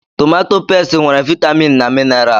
Tomato pesti nwere vaitamin na minaral.